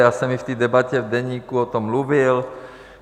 Já jsem i v té debatě v Deníku o tom mluvil.